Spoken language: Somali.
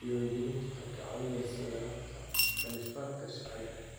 Diiwaangelintu waxay kaa caawinaysaa yaraynta khilaafaadka sharciga ah.